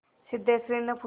सिद्धेश्वरीने पूछा